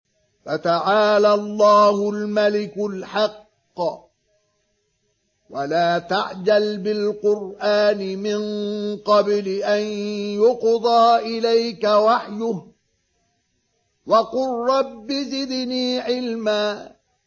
فَتَعَالَى اللَّهُ الْمَلِكُ الْحَقُّ ۗ وَلَا تَعْجَلْ بِالْقُرْآنِ مِن قَبْلِ أَن يُقْضَىٰ إِلَيْكَ وَحْيُهُ ۖ وَقُل رَّبِّ زِدْنِي عِلْمًا